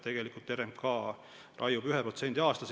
Tegelikult RMK raiub ühe protsendi aastas.